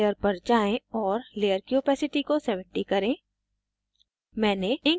arrows layer पर जाएँ और layer की opacity को 70 करें